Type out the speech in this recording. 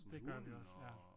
Det gør vi også ja